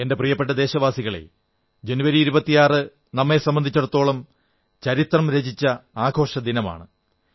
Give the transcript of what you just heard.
എന്റെ പ്രിയപ്പെട്ട ദേശവാസികളേ ജനുവരി 26 നമ്മെ സംബന്ധിച്ചിടത്തോളം ചരിത്രംരചിച്ച ആഘോഷദിനമാണ്